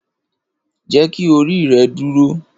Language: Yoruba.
Jeki ori rẹ duro!